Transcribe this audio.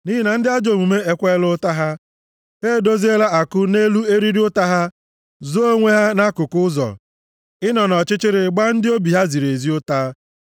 Nʼihi na ndị ajọ omume ekweela ụta ha; ha edoziela àkụ nʼelu eriri ụta ha, zoo onwe ha nʼakụkụ ụzọ, ịnọ nʼọchịchịrị, gbaa ndị obi ha ziri ezi ụta.